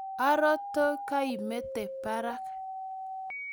aroti keimete barak